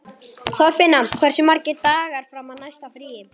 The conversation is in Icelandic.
Þorfinna, hversu margir dagar fram að næsta fríi?